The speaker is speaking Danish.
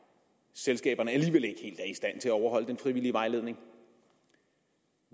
selskaberne at overholde den frivillige vejledning